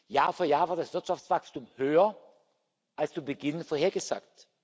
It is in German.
Jahr für Jahr war das Wirtschaftswachstum höher als zu Beginn vorhergesagt.